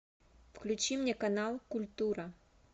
включи мне канал культура